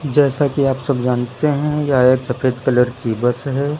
जैसा कि आप सब जानते हैं यह एक सफेद कलर की बस है।